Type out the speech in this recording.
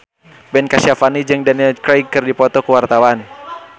Ben Kasyafani jeung Daniel Craig keur dipoto ku wartawan